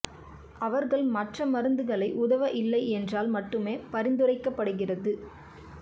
அவர்கள் மற்ற மருந்துகளை உதவ இல்லை என்றால் மட்டுமே பரிந்துரைக்கப்படுகிறது